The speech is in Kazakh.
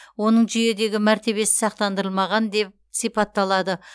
оның жүйедегі мәртебесі сақтандырылмаған деп сипатталады